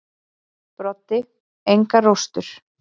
Broddi: Og engar róstur.